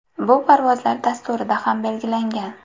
Bu parvozlar dasturida ham belgilangan.